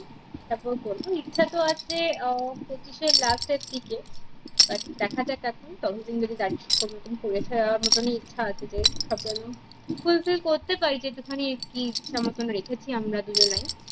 তারপর করবো ইচ্ছা তো আছে মানে আহ পঁচিশ এর last এর দিকে but দেখাযাক এখন ততদিন যদি দায়ত্ব